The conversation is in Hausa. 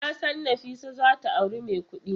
Nasan Nafisa zata auri mai kudi.